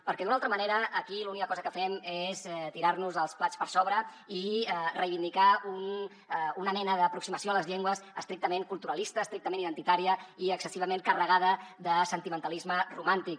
perquè d’una altra manera aquí l’única cosa que fem és tirarnos els plats per sobre i reivindicar una mena d’aproximació a les llengües estrictament culturalista estrictament identitària i excessivament carregada de sentimentalisme romàntic